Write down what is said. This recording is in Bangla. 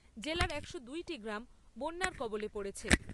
জেলার একশো দুই টি গ্রাম বন্যার কবলে পড়েছে।